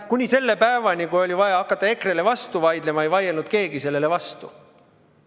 Ja kuni selle päevani, kui oli vaja hakata EKRE-le vastu vaidlema, ei vaielnud keegi sellele vastu.